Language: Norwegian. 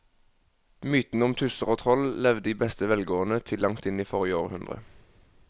Mytene om tusser og troll levde i beste velgående til langt inn i forrige århundre.